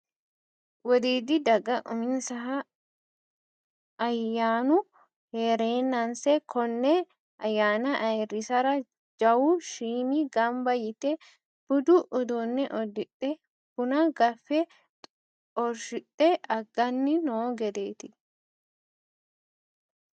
Wodiidi daga uminsahu ayyannu heerenase kone ayyanna ayirrisara jawu shiimi gamba yite budu uduune uddidhe buna gaffe xorshidhe aganni no gedeti.